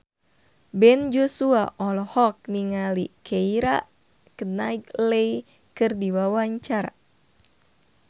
Ben Joshua olohok ningali Keira Knightley keur diwawancara